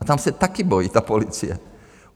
A tam se taky bojí ta policie.